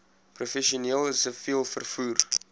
professioneel siviel vervoer